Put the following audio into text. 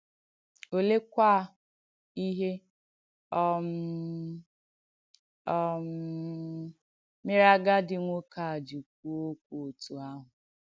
Olèékwà ìhé um um mere àgàdí nwokè a jì kwúò òkwù òtù ạhụ̀?